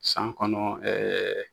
San kɔnɔ ɛɛ